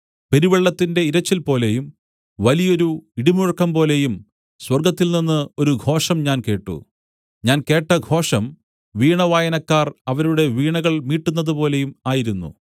പെരുവെള്ളത്തിന്റെ ഇരച്ചിൽപോലെയും വലിയൊരു ഇടിമുഴക്കംപോലെയും സ്വർഗ്ഗത്തിൽനിന്ന് ഒരു ഘോഷം ഞാൻ കേട്ട് ഞാൻ കേട്ട ഘോഷം വീണ വായനക്കാർ അവരുടെ വീണകൾ മീട്ടുന്നതുപോലെയും ആയിരുന്നു